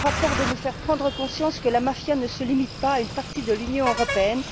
Ce rapport doit nous faire prendre conscience que la mafia ne se limite pas à une partie de l'Union européenne.